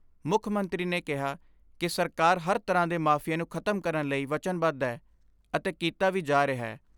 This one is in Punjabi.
ਮੁੱਖ ਮੰਤਰੀ ਨੇ ਕਿਹਾ ਕਿ ਸਰਕਾਰ ਹਰ ਤਰ੍ਹਾਂ ਦੇ ਮਾਫੀਏ ਨੂੰ ਖਤਮ ਕਰਨ ਲਈ ਵਚਨਬੱਧ ਐ ਅਤੇ ਕੀਤਾ ਵੀ ਜਾ ਰਿਹੈ।